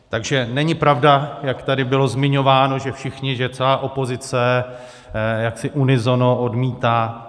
Takže není pravda, jak tady bylo zmiňováno, že všichni, že celá opozice jaksi unisono odmítá.